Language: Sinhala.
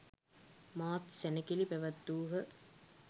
මහත් සැණකෙළි පැවැත්වූහ.